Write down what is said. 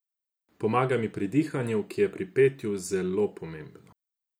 Pomaga mi pri dihanju, ki je pri petju zelo pomembno.